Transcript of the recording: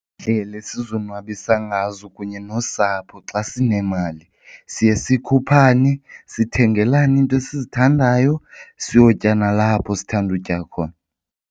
Iindlela esizonwabisa ngazo kunye nosapho xa sinemali siye sikhuphane, sithengelane iinto esizithandayo, siyotya nalapho sithanda utya khona.